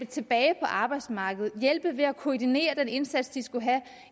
tilbage på arbejdsmarkedet kunne hjælpe ved at koordinere den indsats de skulle have